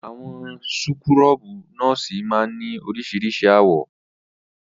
Àwọn súkúrọ́bì nọ́ọ́sì máa ń ní oríṣiríṣi àwọ̀.